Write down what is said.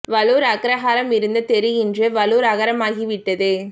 வழூர் அக்ரஹாரம் இருந்த தெரு இன்று வழூர் அகரமாகி விட்டது